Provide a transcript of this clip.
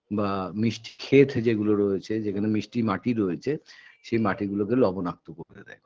বা মিষ্টি ক্ষেত যেগুলো রয়েছে যেখানে মিষ্টি মাটি রয়েছে সেই মাটি গুলোকে লবণাক্ত করতে দেয়